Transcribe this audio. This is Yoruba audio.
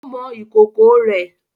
o mọ ikoko rẹ.